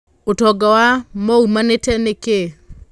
ũtonga wa Mwaũumanĩte na Kĩĩ?